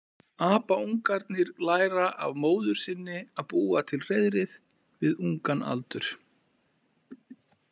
Apaungarnir læra af móður sinni að búa til hreiðrið við ungan aldur.